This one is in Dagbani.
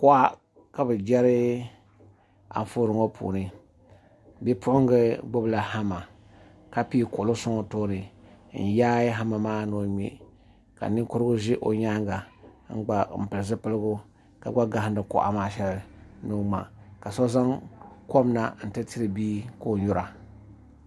kuɣa ka bɛ jeri anfooni ŋɔ puuni bipuɣinga gbubila hama ka pii kuɣili sɔŋ o tooni n-yaai hama ni o ŋme ka ninkurugu ʒe o nyaanga m-pili zipiligu ka gba gahindi kuɣa maa shɛli ka so zaŋ kom na nti tiri bia ka o nyura